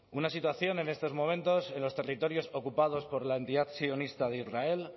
una situación en estos momentos en los territorios ocupados por la entidad sionista de israel